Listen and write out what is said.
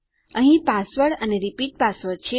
અહીં પાસવર્ડ અને repeat password છે